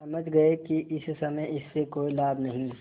समझ गये कि इस समय इससे कोई लाभ नहीं